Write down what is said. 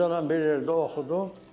Mirzə ilə bir yerdə oxudum.